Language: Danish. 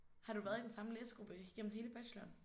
Har du været i den samme læsegruppe igennem hele bacheloren?